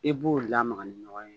E b'o lamaga ni ɲɔgɔn ye